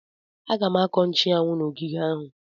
M ga-akọ nchuanwu n'ogige ahụ.